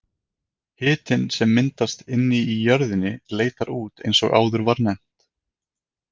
Hitinn sem myndast inni í jörðinni leitar út eins og áður var nefnt.